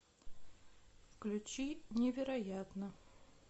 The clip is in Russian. включи невероятно